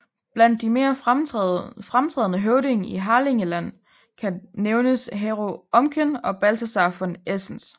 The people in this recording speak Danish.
Blandt de mere fremtrædende høvdinge i Harlingerland kan nævnes Hero Omken og Balthasar von Esens